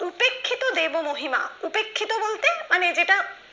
উপেক্ষিত দেব মহিমা উপেক্ষিত বলতে মানে যেটা